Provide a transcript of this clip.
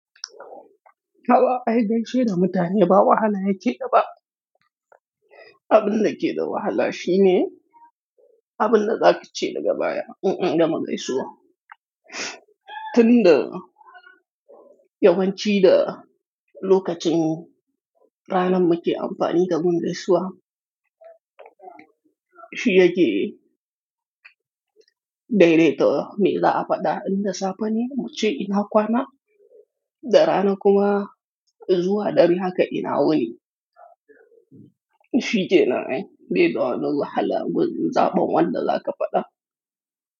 Hawa, ai gaishe da mutane ba wahala yake da ba. Abin da ke da wahala shine abin da za ki ce daga baya, mm-mm, game gaisuwa. Tun da yawanci da lokacin ranar muke amfani da wani gaisuwa, shi yake daidaita me za a faɗa. Inda safa ne, muce ina kwana? Da rana kuma zuwa dare haka ina wuni? Shi yana, ai, baiɗa wani wahala wanzan bawan da za ka faɗa.